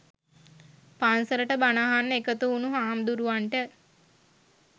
පන්සලට බණ අහන්න එකතු වුණු හාමුදුරුවන්ට